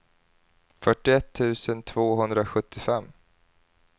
fyrtioett tusen tvåhundrasjuttiofem